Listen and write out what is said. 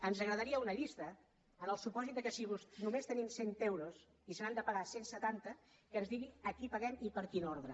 ens agradaria una llista en el supòsit que si només tenim cent euros i se n’han de pagar cent setanta que ens digui a qui paguem i per quin ordre